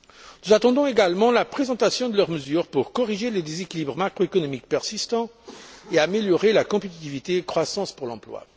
Nous attendons également la présentation de leurs mesures pour corriger les déséquilibres macroéconomiques persistants et améliorer la compétitivité et la croissance pour l'emploi.